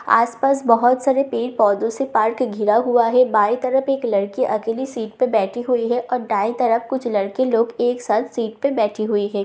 आस-पास बहोत सारे पेड़-पौधो से पार्क घिरा हुआ है बाई तरफ एक लड़की अकेली सिट पर बैठी हुई है और दाई तरफ कुछ लड़के लोग एक साथ सीट पे बैठे हुए है।